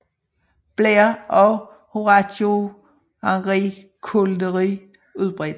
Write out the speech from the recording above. Blair og Horatio Henry Couldery udbredt